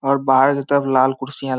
और बाहर की तरफ लाल कुर्सियां --